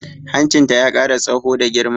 Hancinta ya ƙara tsaho da ta girma